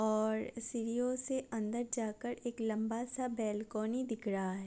और सीढ़ियों से अंदर जाकर एक लंबा सा बेलकोनी दिख रहा ह --